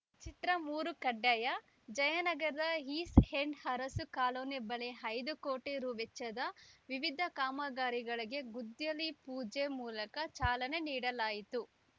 ಚಿತ್ರ ಮೂರು ಕಡ್ಡಾಯ ಜಯನಗರದ ಈಸ್ ಎಂಡ್‌ ಅರಸು ಕಾಲೋನಿ ಬಳಿ ಐದು ಕೋಟಿ ರು ವೆಚ್ಚದ ವಿವಿಧ ಕಾಮಗಾರಿಗಳಿಗೆ ಗುದ್ದಲಿ ಪೂಜೆ ಮೂಲಕ ಚಾಲನೆ ನೀಡಲಾಯಿತು